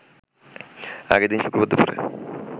আগের দিন শুক্রবার দুপুরে